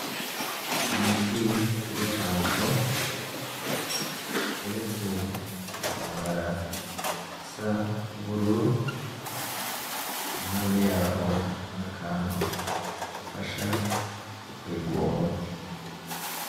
Umuti w’urucanco uteretse ku gitambara gisa n’ubururu iruhande yaho hari akantu gafasha gukwega uwo muti.